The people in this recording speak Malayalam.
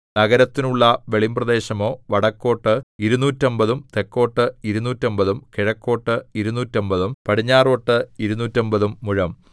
നഗരത്തിനുള്ള വെളിമ്പ്രദേശമോ വടക്കോട്ട് ഇരുനൂറ്റമ്പതും തെക്കോട്ട് ഇരുനൂറ്റമ്പതും കിഴക്കോട്ട് ഇരുനൂറ്റമ്പതും പടിഞ്ഞാറോട്ട് ഇരുനൂറ്റമ്പതും മുഴം